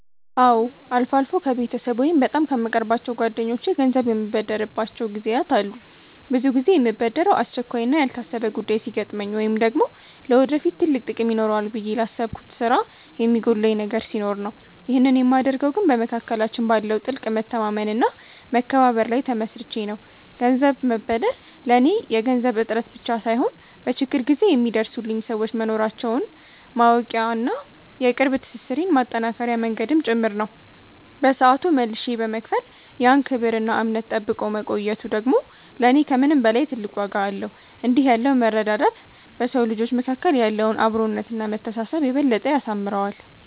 አዎ፣ አልፎ አልፎ ከቤተሰብ ወይም በጣም ከምቀርባቸው ጓደኞቼ ገንዘብ የምበደርባቸው ጊዜያት አሉ። ብዙ ጊዜ የምበደረው አስቸኳይና ያልታሰበ ጉዳይ ሲገጥመኝ ወይም ደግሞ ለወደፊት ትልቅ ጥቅም ይኖረዋል ብዬ ላሰብኩት ስራ የሚጎድለኝ ነገር ሲኖር ነው። ይህንን የማደርገው ግን በመካከላችን ባለው ጥልቅ መተማመንና መከባበር ላይ ተመስርቼ ነው። ገንዘብ መበደር ለኔ የገንዘብ እጥረት ብቻ ሳይሆን፣ በችግር ጊዜ የሚደርሱልኝ ሰዎች መኖራቸውን ማወቂያና የቅርብ ትስስሬን ማጠናከሪያ መንገድም ጭምር ነው። በሰዓቱ መልሼ በመክፈል ያን ክብርና እምነት ጠብቆ መቆየቱ ደግሞ ለኔ ከምንም በላይ ትልቅ ዋጋ አለው። እንዲህ ያለው መረዳዳት በሰው ልጆች መካከል ያለውን አብሮነትና መተሳሰብ የበለጠ ያሳምረዋል።